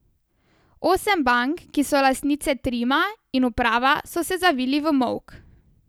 Osem bank, ki so lastnice Trima in uprava so se zavili v molk.